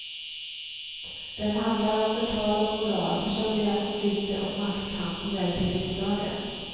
Den handlar om förtal och moral, personliga konflikter och maktkamp på väg till riksdagen.